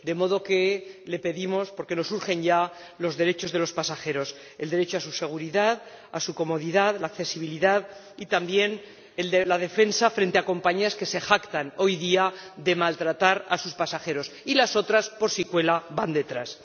De modo que le pedimos que vele, porque urge ya, por los derechos de los pasajeros el derecho a la seguridad, a la comodidad, a la accesibilidad y, también, el de la defensa frente a compañías que se jactan hoy día de maltratar a sus pasajeros ―y las otras, por si cuela, van detrás―.